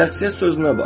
Şəxsiyyət sözünə bax.